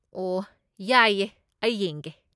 ꯑꯣꯍ, ꯌꯥꯏꯌꯦ, ꯑꯩ ꯌꯦꯡꯒꯦ꯫